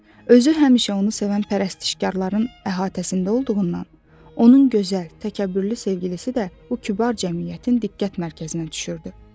Özü həmişə onu sevən pərəstişkarların əhatəsində olduğundan, onun gözəl, təkəbbürlü sevgilisi də bu kübar cəmiyyətin diqqət mərkəzinə düşürdü.